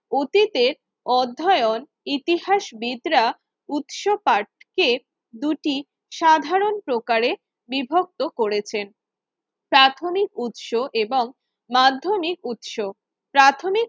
অতীতের অধ্যায়ন ইতিহাসবিদরা উৎসপাঠকে দুটি সাধারণ প্রকারের বিভক্ত করেছেন প্রাথমিক উৎস এবং মাধ্যমিক উৎস প্রাথমিক